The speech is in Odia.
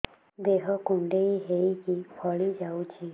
ଦେହ କୁଣ୍ଡେଇ ହେଇକି ଫଳି ଯାଉଛି